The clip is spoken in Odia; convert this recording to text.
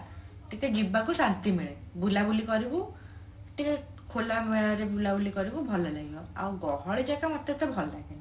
ଟିକେ ଯିବାକୁ ଶାନ୍ତି ମିଳେ ବୁଲାବୁଲି କରିବୁ ଟିକେ ଖୋଲାମୟ ରେ ବୁଲାବୁଲି କରିବୁ ଭଲ ଲାଗିବ ଆଉ ଗହଳି ଜାଗା ମତେ ଏତେ ଭଲ ଲାଗେନି